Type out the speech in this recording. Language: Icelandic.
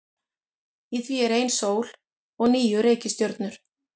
Í því er ein sól og níu reikistjörnur.